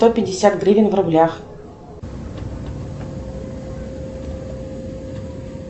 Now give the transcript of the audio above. сто пятьдесят гривен в рублях